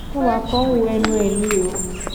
mo mà kàn ń wo ẹnu ẹ̀ ni o